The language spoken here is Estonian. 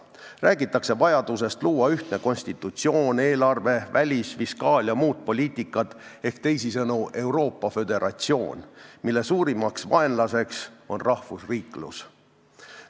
Räägitakse vajadusest luua ühtne konstitutsioon, eelarve, välis-, fiskaal- ja muud poliitikad ehk, teisisõnu, Euroopa föderatsioon, mille suurim vaenlane on rahvusriiklus.